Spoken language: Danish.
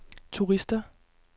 turister